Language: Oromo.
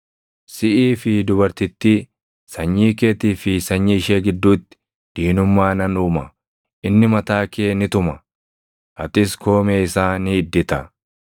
Siʼii fi dubartittii, sanyii keetii fi sanyii ishee gidduutti diinummaa nan uuma; inni mataa kee ni tuma; atis koomee isaa ni iddita.”